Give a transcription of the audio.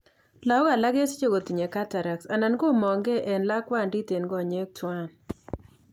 Lagok alak kesiche kotinye cataracts anan komong'kei en lakwandit en konyek twan